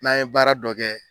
N'a ye baara dɔ kɛ